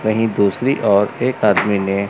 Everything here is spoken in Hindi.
वहीं दूसरी ओर एक आदमी ने--